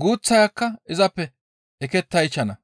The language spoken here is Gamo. guuththayakka izappe ekettaychchana.